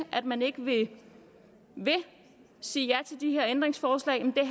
at man ikke vil sige ja til de her ændringsforslag mere